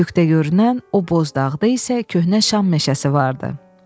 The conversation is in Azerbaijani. Üfüqdə görünən o boz dağda isə köhnə Şam meşəsi vardı.